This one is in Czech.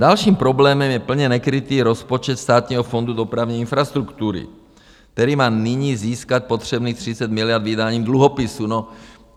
Dalším problémem je plně nekrytý rozpočet Státního fondu dopravní infrastruktury, který má nyní získat potřebných 30 miliard vydáním dluhopisů.